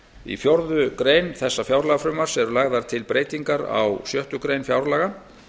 í fjórða grein þessa fjárlagafrumvarps eru lagðar til breytingar á sjöttu grein fjárlaga